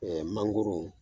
Ɛɛ mangoro